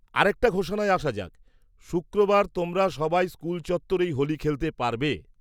-আরেকটা ঘোষণায় আসা যাক, শুক্রবার তোমরা সবাই স্কুল চত্বরেই হোলি খেলতে পারবে।